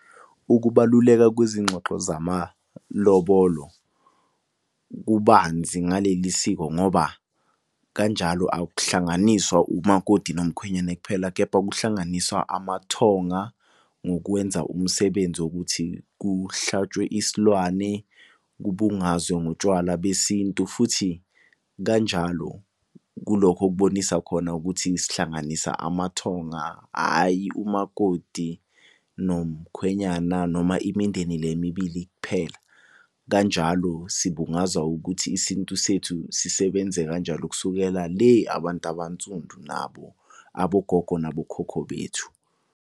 Ukubaluleka kwezingxoxo zamalobolo. Kubanzi ngaleli siko ngoba kanjalo akuhlanganiswa umakoti nomkhwenyane kuphela, kepha kuhlanganiswa amathonga ngokwenza umsebenzi wokuthi kuhlatshwe isilwane kubungazwe ngotshwala besintu. Futhi kanjalo kulokho okubonisa khona ukuthi sihlanganisa amathonga, hhayi umakoti nomkhwenyana noma imindeni le emibili kuphela. Kanjalo sibungaza ukuthi isintu sethu sisebenze kanjalo kusukela le abantu abansundu nabo abogogo nabokhokho bethu.